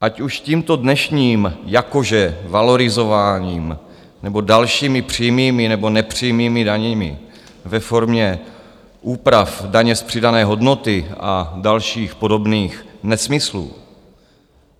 Ať už tímto dnešním jakože valorizováním, nebo dalšími přímými nebo nepřímými daněmi ve formě úprav daně z přidané hodnoty a dalších podobných nesmyslů.